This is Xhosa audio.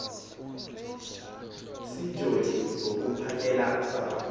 seenjoli zokuphakela usapho